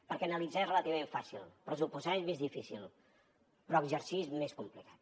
perquè analitzar és relativament fàcil pressuposar és més difícil però exercir és més complicat